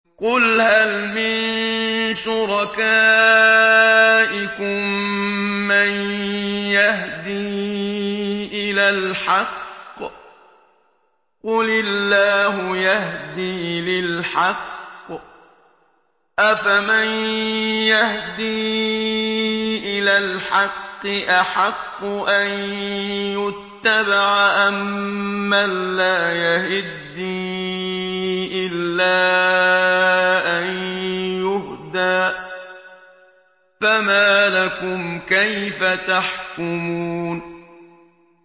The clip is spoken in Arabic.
قُلْ هَلْ مِن شُرَكَائِكُم مَّن يَهْدِي إِلَى الْحَقِّ ۚ قُلِ اللَّهُ يَهْدِي لِلْحَقِّ ۗ أَفَمَن يَهْدِي إِلَى الْحَقِّ أَحَقُّ أَن يُتَّبَعَ أَمَّن لَّا يَهِدِّي إِلَّا أَن يُهْدَىٰ ۖ فَمَا لَكُمْ كَيْفَ تَحْكُمُونَ